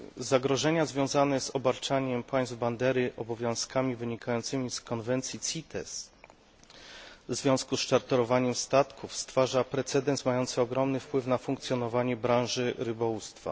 Zagrożenia związane z obarczaniem państw bandery obowiązkami wynikającymi z konwencji CITES w związku z czarterowaniem statków stwarzają precedens mający ogromny wpływ na funkcjonowanie branży rybołówstwa.